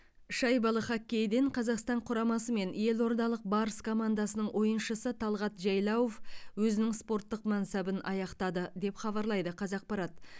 шайбалы хоккейден қазақстан құрамасы мен елордалық барыс командасының ойыншысы талғат жайлауов өзінің спорттық мансабын аяқтады деп хабарлайды қазақпарат